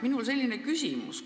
Minul on selline küsimus.